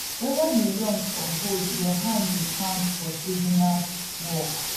whether you young or old your hand dey count for seasonal work